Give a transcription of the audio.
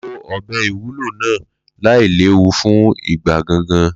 Lo ọ̀bẹ ìwúlò náà láìléwu fún ìgbẹ́ gangan.